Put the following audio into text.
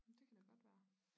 Det kan da godt være